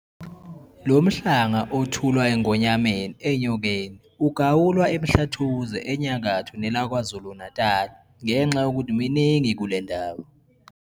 Lo Mhlanga othulwa eNgonyameni eNyokeni ugawulwa eMhlathuze enyakatho nelakwaZulu-Natali ngenxa yokuthi miningi kule ndawo.